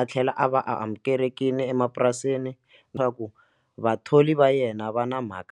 a tlhela a va amukelekile emapurasini na ku vathori va yena va na mhaka.